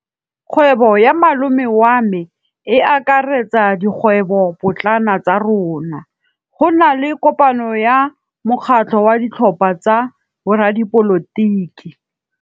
Kgwêbô ya malome wa me e akaretsa dikgwêbôpotlana tsa rona. Go na le kopanô ya mokgatlhô wa ditlhopha tsa boradipolotiki.